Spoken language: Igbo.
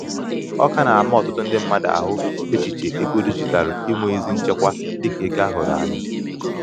ọ ka na-ama ọtụtụ ndị mmadụ ahụ echiche ego dijitalu inwe ezi nchekwa dika ego a hụrụ anya.